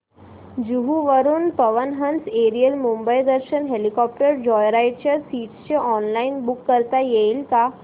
जुहू वरून Pawan Hans aerial Mumbai Darshan helicopter joyride च्या seats online book करता येतील का